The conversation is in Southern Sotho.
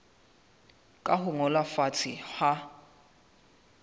ka ho ngolwa fatshe ha